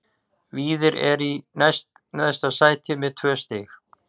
Víðir er í næst neðsta sæti með tvö stig.